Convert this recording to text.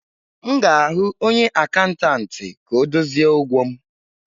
M ga-ahụ onye akatantị ka ọ dozie ụgwọ m.